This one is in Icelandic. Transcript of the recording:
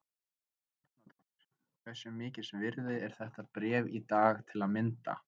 Helga Arnardóttir: Hversu mikils virði er þetta bréf í dag til að mynda?